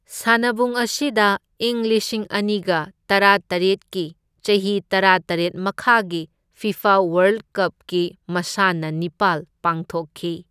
ꯁꯥꯟꯅꯄꯨꯡ ꯑꯁꯤꯗ ꯏꯪ ꯂꯤꯁꯤꯡ ꯑꯅꯤꯒ ꯇꯔꯥꯇꯔꯦꯠꯀꯤ ꯆꯍꯤ ꯇꯔꯥꯇꯔꯦꯠ ꯃꯈꯥꯒꯤ ꯐꯤꯐꯥ ꯋꯥꯔꯜꯗ ꯀꯞꯀꯤ ꯃꯁꯥꯟꯅ ꯅꯤꯄꯥꯜ ꯄꯥꯡꯊꯣꯛꯈꯤ꯫